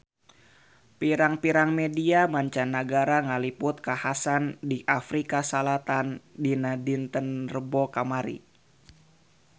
Pirang-pirang media mancanagara ngaliput kakhasan di Afrika Selatan dinten Rebo kamari